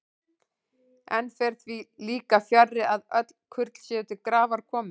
Enn fer því líka fjarri, að öll kurl séu til grafar komin.